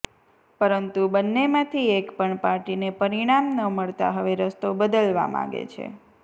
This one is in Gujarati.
પરંતુ બંનેમાંથી એક પણ પાર્ટીને પરિણામ ન મળતા હવે રસ્તો બદલવા માગે છે